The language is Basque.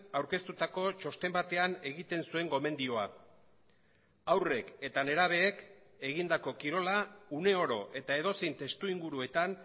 aurkeztutako txosten batean egiten zuen gomendioa haurrek eta nerabeek egindako kirola une oro eta edozein testuinguruetan